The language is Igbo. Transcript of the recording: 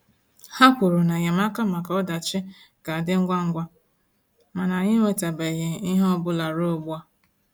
Ha kwuru na enyemaka maka ọdachi ga-adị ngwa ngwa, mana anyị enwetabeghị ihe ọ bụla ruo ugbu a.